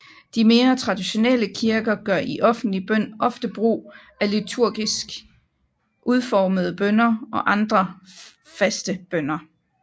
De mere traditionelle kirker gør i offentlig bøn ofte brug af liturgisk udformede bønner og andre faste bønner